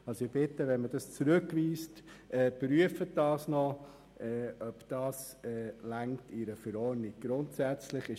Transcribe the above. Ich bitte Sie, bei einer Rückweisung zu prüfen, ob dafür eine Verordnung ausreicht.